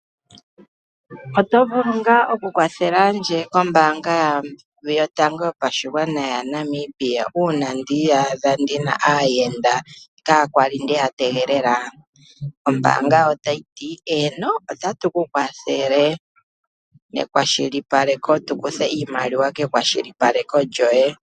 Oto vulu nga oku kwathelandje kombaanga yotango yopashigwana yaNamibia uuna ndiiyadha ndina aayenda kaakwali ndeya tegelela? Ombaanga otayi ti eeno, otatu ku kwathele nekwashilipaleko, tukuthe iimaliwa kekwashilipaleko lyoye.